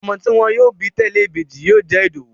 Ọmọ tí wọ́n yóò bí tẹ̀lẹ́ ìbejì yóò jẹ́ Ìdòwú